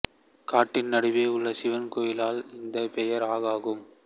காட்டின் நடுவே உள்ள சிவன் கோவிலால் இந்த பெயர் ஆஅகும்